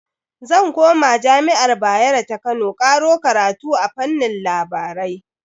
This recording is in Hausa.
Zan koma jami'ar Bayero ta Kano karo karatu a fannin labarai.